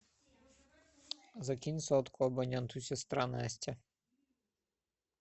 закинь сотку абоненту сестра настя